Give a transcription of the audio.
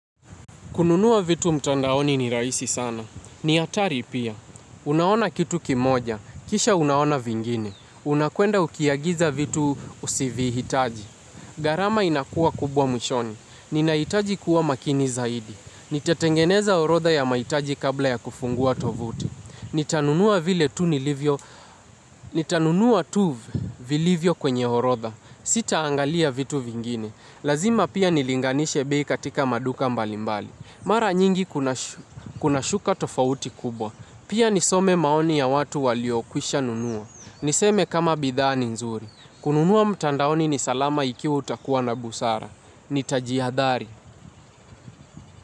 Kununua vitu mtandaoni ni rahisi sana. Ni hatari pia. Unaona kitu kimoja. Kisha unaona vingine. Unakwenda ukiagiza vitu usivihitaji. Gharama inakuwa kubwa mwishoni. Ninahitaji kuwa makini zaidi. Nitatengeneza orodha ya mahitaji kabla ya kufungua tovuti. Nitanunua vile tu nilivyo. Nitanunua tu vilivyo kwenye orodha. Sitaangalia vitu vingine. Lazima pia nilinganishe bei katika maduka mbalimbali. Mara nyingi kuna shuka tofauti kubwa. Pia nisome maoni ya watu waliokwisha nunua. Niseme kama bidhaa ni nzuri. Kununua mtandaoni ni salama ikiwa utakuwa na busara. Nitajihadhari.